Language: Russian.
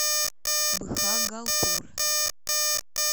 бхагалпур